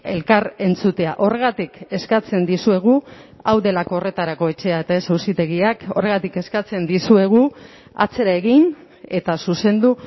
elkar entzutea horregatik eskatzen dizuegu hau delako horretarako etxea eta ez auzitegiak horregatik eskatzen dizuegu atzera egin eta zuzendu